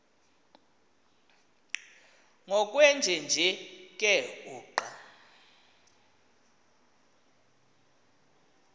ngokwenjenje ke uqa